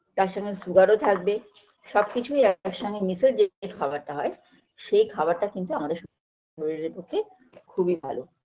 তার সঙ্গে sugar -ও থাকবে সবকিছুই একসঙ্গে মিশে যে খাবারটা হয় সেই খাবারটা কিন্তু আমাদের শরীরের পক্ষে খুবই ভালো